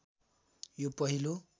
यो पहिलो